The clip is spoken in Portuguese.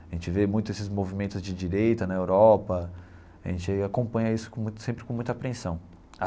A gente vê muito esses movimentos de direita na Europa, a gente acompanha isso com muita sempre com muita apreensão.